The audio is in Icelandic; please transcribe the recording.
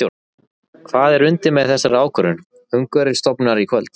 Hvað er undir með þessari ákvörðun Umhverfisstofnunar í kvöld?